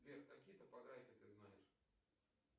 сбер какие топографии ты знаешь